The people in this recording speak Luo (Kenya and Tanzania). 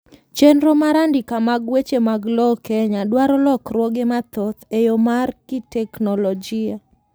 chenro mar andika mar weche mag lowo Kenya dwaro lokruoge mathoth e yoo mar kiteknolojia